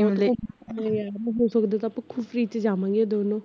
ਹੋ ਸਕਦਾ ਤਾਂ ਆਪਾਂ ਕੁਫ਼ਰੀ ਚ ਜਾਵਾਂਗੀਆ ਦੋਨੋਂ